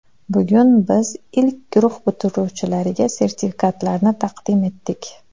Bugun biz ilk guruh bitiruvchilariga sertifikatlarni taqdim etdik.